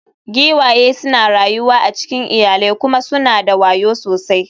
Giwaye suna rayuwa a cikin iyalai kuma suna da wayo sosai.